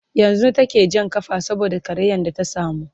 yanzun take Jan kafa saboda karayan da ta samu